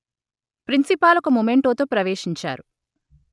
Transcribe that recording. principal ఒక మొమెంటోతో ప్రవేశించారు